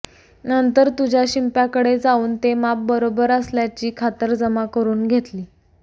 नंतर तुझ्या शिंप्याकडे जाऊन ते माप बरोबर असल्याची खातरजमा करून घेतली